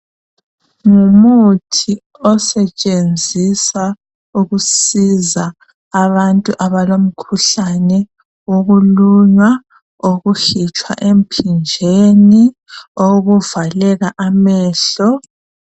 Ngumuthi osetshenziswa ukusiza abantu abalomkhuhlane wokulunywa, ukuhitshwa emphinjeni, ukuvaleka amehlo.